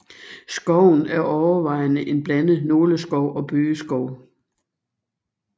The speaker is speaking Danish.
Skoven er overvejende en blandet nåleskov og bøgeskov